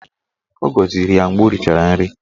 Ọ gọziri ya mgbe ọ richara nri?